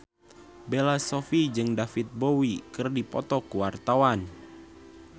Bella Shofie jeung David Bowie keur dipoto ku wartawan